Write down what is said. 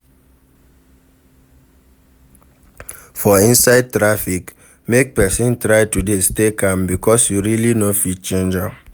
For inside traffic make persin try to de stay calm because you really no fit change am